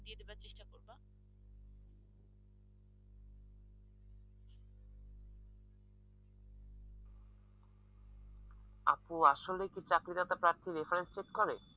আপু আসলে কি চাকরিদাতা প্রার্থীর reference চেক করে?